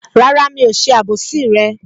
Rárá, mi ò ṣe àbòsí rẹ